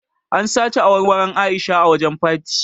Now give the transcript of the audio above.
An sace awarwaron A'isha a wajen party.